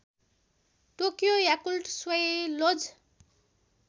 Tokyo Yakult swallows